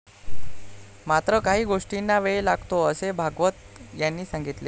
मात्र काही गोष्टींना वेळ लागतो असे भागवत यांनी सांगितले.